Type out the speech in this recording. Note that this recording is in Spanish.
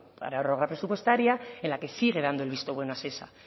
prórroga presupuestaria en la que sigue dando el visto bueno a shesa